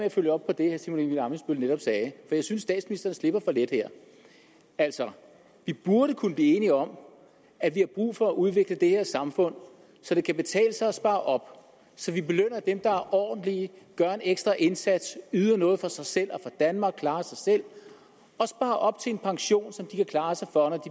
at følge op på det herre simon emil ammitzbøll netop sagde for jeg synes statsministeren slipper for let her altså vi burde kunne blive enige om at vi har brug for at udvikle det her samfund så det kan betale sig at spare op så vi belønner dem der er ordentlige gør en ekstra indsats yder noget for sig selv og for danmark klarer sig selv og sparer op til en pension som de kan klare sig for